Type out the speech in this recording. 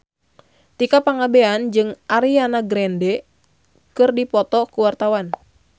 Tika Pangabean jeung Ariana Grande keur dipoto ku wartawan